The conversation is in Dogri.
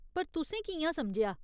पर तुसें कि'यां समझेआ ?